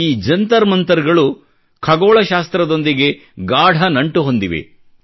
ಈ ಜಂತರ್ಮಂತರ್ಗಳು ಖಗೋಳಶಾಸ್ತ್ರದೊಂದಿಗೆ ಗಾಢ ನಂಟು ಹೊಂದಿವೆ